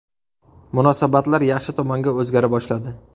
Munosabatlar yaxshi tomonga o‘zgara boshladi.